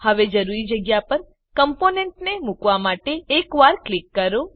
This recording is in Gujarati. હવે જરૂરી જગ્યા પર કમ્પોનેન્ટને મુકવા માટે એકવાર ક્લિક કરો